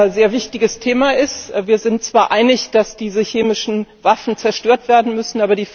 Das ist ein sehr wichtiges Thema. Wir sind zwar darin einig, dass diese chemischen Waffen zerstört werden müssen.